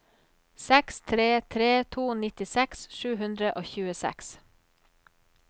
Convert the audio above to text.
seks tre tre to nittiseks sju hundre og tjueseks